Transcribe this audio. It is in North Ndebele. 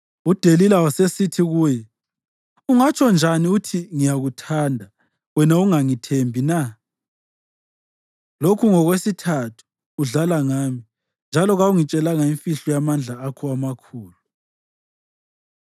UDelila wasesithi, kuye, “Ungatsho njani uthi, ‘Ngiyakuthanda,’ wena ungangithembi na? Lokhu ngokwesithathu udlala ngami njalo kawungitshelanga imfihlo yamandla akho amakhulu.”